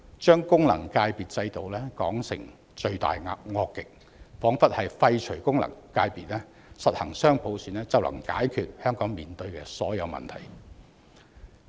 將功能界別制度說成罪大惡極，彷彿廢除功能界別，實行雙普選，便能解決香港面對的所有問題。